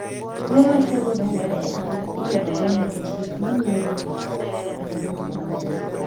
Tuo ma chogo dongore e hanga inyalo gol nikech gik ma miyo dend bedo ma ber.